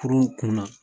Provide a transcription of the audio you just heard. Kurun kun na